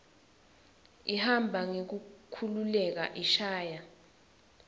ihamba ngekukhululeka ishaya